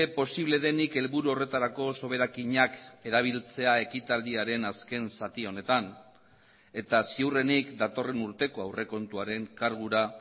posible denik helburu horretarako soberakinak erabiltzea ekitaldiaren azken zati honetan eta ziurrenik datorren urteko aurrekontuaren kargura